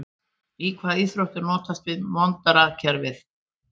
Í hvaða íþrótt er notast við Monrad-kerfið?